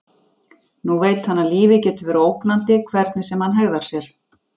Nú veit hann að lífið getur verið ógnandi hvernig sem hann hegðar sér.